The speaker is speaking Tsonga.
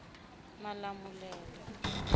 malamulele